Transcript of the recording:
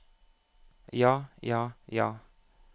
ja ja ja